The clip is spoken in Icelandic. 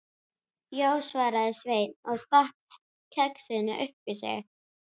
Já, svaraði Sveinn og stakk kexinu upp í sig.